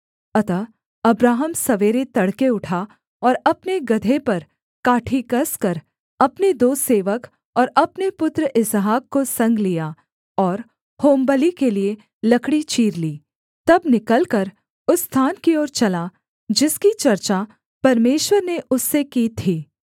अतः अब्राहम सवेरे तड़के उठा और अपने गदहे पर काठी कसकर अपने दो सेवक और अपने पुत्र इसहाक को संग लिया और होमबलि के लिये लकड़ी चीर ली तब निकलकर उस स्थान की ओर चला जिसकी चर्चा परमेश्वर ने उससे की थी